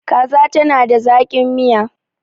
kaza tana da zaki. Miya